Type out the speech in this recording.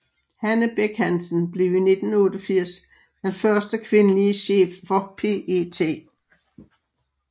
Hanne Bech Hansen blev i 1988 den første kvindelig chef for PET